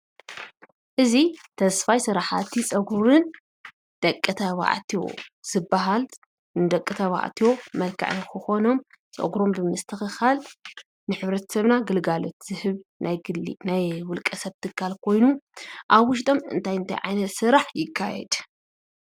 እዚ ተስፋይ ስራሕቲ ፀጉርን ደቂ ተባዕትዮ ዝበሃል ንደቂ ተባዕትዮ መልካዓት ክኮኑ ፀጉሮም ብምስትክኻል ግልጋሎት ዝህብ ናይ ውልቀ ሰብ ግልጋሎት ኮይኑ ኣብ ውሽጠም እንይት እንታይ ስራሕ ይካየድ?